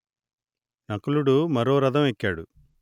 నకులుడు మరో రథం ఎక్కాడు